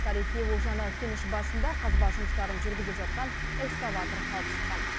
тарихи олжаны кеніш басында қазба жұмыстарын жүргізіп жатқан экскаватор алып шыққан